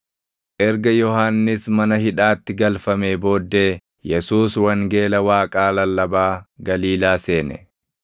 Erga Yohannis mana hidhaatti galfamee booddee, Yesuus wangeela Waaqaa lallabaa Galiilaa seene.